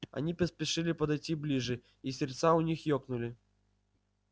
они поспешили подойти ближе и сердца у них ёкнули